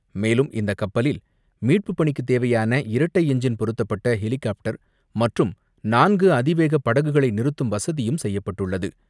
மேலும், இந்தக் கப்பலில் மீட்புப் பணிக்குத் தேவையான இரட்டை என்ஜின் பொருத்தப்பட்ட ஹெலிகாப்டர் மற்றும் நான்கு அதிவேகப் படகுகளை நிறுத்தும் வசதியும் செய்யப்பட்டுள்ளது.